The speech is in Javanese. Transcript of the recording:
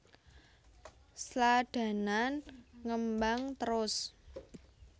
Sladanan ngembang trus